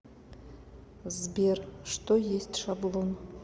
сбер что есть шаблон